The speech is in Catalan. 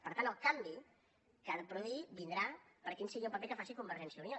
per tant el canvi que s’ha de produir vindrà per quin sigui el paper que faci convergència i unió